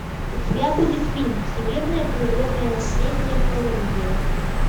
у тебя будет фильм всемирное природное наследие колумбия